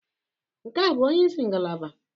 Nke a bụ onye isi ngalaba?